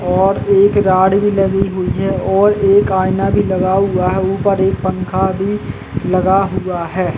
और एक राड भी लगी हुई है और एक आईना भी लगा हुआ है ऊपर एक पंखा भी लगा हुआ है।